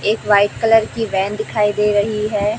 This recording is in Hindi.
एक व्हाइट कलर की वैन दिखाई दे रही है।